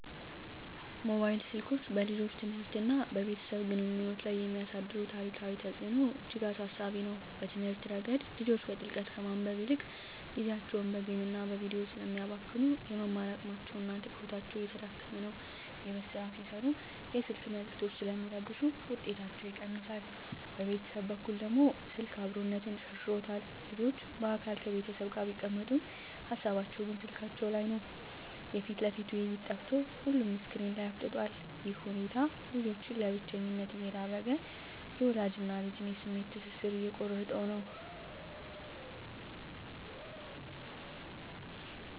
ሞባይል ስልኮች በልጆች ትምህርትና በቤተሰብ ግንኙነት ላይ የሚያሳድሩት አሉታዊ ተጽዕኖ እጅግ አሳሳቢ ነው። በትምህርት ረገድ፣ ልጆች በጥልቀት ከማንበብ ይልቅ ጊዜያቸውን በጌምና በቪዲዮ ስለሚያባክኑ፣ የመማር አቅማቸውና ትኩረታቸው እየተዳከመ ነው። የቤት ሥራ ሲሠሩም የስልክ መልዕክቶች ስለሚረብሹ ውጤታቸው ይቀንሳል። በቤተሰብ በኩል ደግሞ፣ ስልክ "አብሮነትን" ሸርሽሮታል። ልጆች በአካል ከቤተሰብ ጋር ቢቀመጡም፣ ሃሳባቸው ግን ስልካቸው ላይ ነው። የፊት ለፊት ውይይት ጠፍቶ ሁሉም ስክሪን ላይ አፍጥጧል። ይህ ሁኔታ ልጆችን ለብቸኝነት እየዳረገ፣ የወላጅና ልጅን የስሜት ትስስር እየቆረጠው ነው።